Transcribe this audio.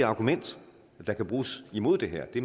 argument der kan bruges imod det her det